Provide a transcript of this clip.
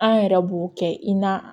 An yɛrɛ b'o kɛ i na